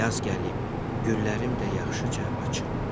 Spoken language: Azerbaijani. Yaz gəlib, güllərim də yaxşıca açıb.